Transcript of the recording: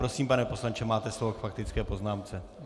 Prosím, pane poslanče, máte slovo k faktické poznámce.